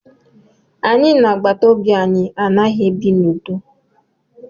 Anyị na agbataobi anyị anaghị ebi n'udo